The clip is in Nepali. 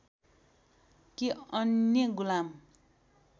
कि अन्य गुलाम